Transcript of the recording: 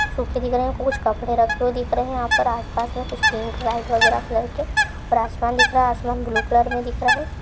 सूखे दिख रहे कुछ कपडे रैक दिख रहे हे | यह पर अस पास कुछ पिंक ओर वाइट वगेरा कलर के ओर आसमान दिख रहे हे |आसमान ब्लू कलर मे दिख रहे है |